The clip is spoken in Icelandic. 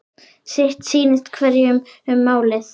Sitt sýnist hverjum um málið.